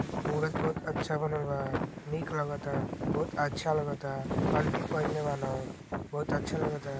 मूरत बहुत अच्छा बनल बा। नीक लागता। बहुत अच्छा लगता। कंठी पहिनले बानअ। बहुत अच्छा लागता।